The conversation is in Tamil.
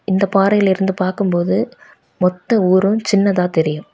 இந்த பாரை ல இருந்து பார்க்கும் போது மொத்த ஊரும் சின்னதா தெரியும்.